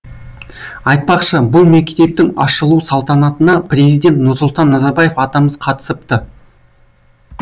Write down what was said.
айтпақшы бұл мектептің ашылу салтанатына президент нұрсұлтан назарбаев атамыз қатысыпты